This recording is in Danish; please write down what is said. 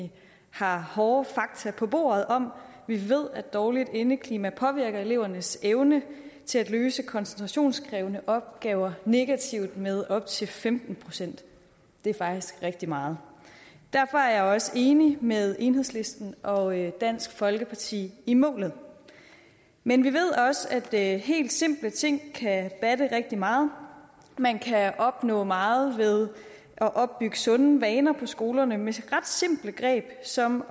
vi har hårde fakta på bordet om vi ved at dårligt indeklima påvirker elevernes evne til at løse koncentrationskrævende opgaver negativt med op til femten procent det er faktisk rigtig meget derfor er jeg også enig med enhedslisten og dansk folkeparti i målet men vi ved også at helt simple ting kan batte rigtig meget man kan opnå meget ved at opbygge sunde vaner på skolerne med ret simple greb som